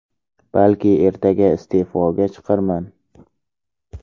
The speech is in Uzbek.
Balki ertaga iste’foga chiqarman.